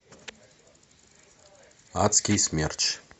адский смерч